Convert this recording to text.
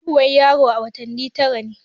Haihuwan yaro a watanni tara ne.